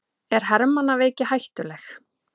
Er hermannaveiki hættuleg?